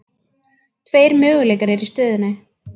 Tveir möguleikar eru í stöðunni.